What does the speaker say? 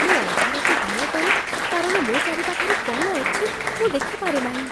ମୁଁ ଅନ୍ଧାରକୁ ଭୟ କରେ କାରଣ ମୋ ଚାରିପାଖରେ କ'ଣ ଅଛି ମୁଁ ଦେଖିପାରେନାହିଁ।